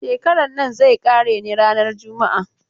Shekaran nan zai ƙare ne ranar juma'a.